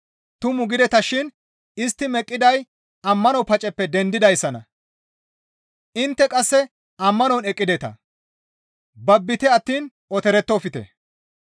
Tumu gidetashin istti meqqiday ammano paceppe dendidayssanna. Intte qasse ammanon eqqideta; babbite attiin otorettofte.